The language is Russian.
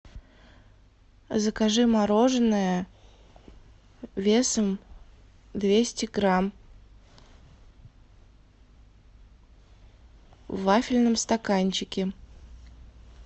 закажи мороженное весом двести грамм в вафельном стаканчике